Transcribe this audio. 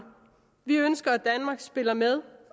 vi ønsker at danmark spiller med